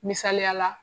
Misaliyala